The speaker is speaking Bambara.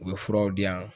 U bɛ furaw di yan